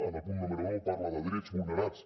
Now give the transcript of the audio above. en el punt número nou parla de drets vulnerats